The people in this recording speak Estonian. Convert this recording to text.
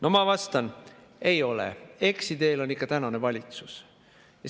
No ma vastan: ei ole, eksiteel on ikka valitsus.